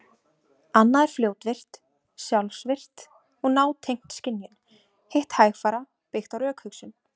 Annað er fljótvirkt, sjálfvirkt og nátengt skynjun, hitt hægfara, byggt á rökhugsun.